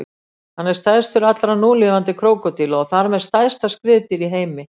Hann er stærstur allra núlifandi krókódíla og þar með stærsta skriðdýr í heimi.